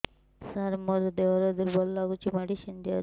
ସାର ମୋର ଦେହ ଦୁର୍ବଳ ଲାଗୁଚି ମେଡିସିନ ଦିଅନ୍ତୁ